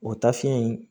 O ta fiɲɛ in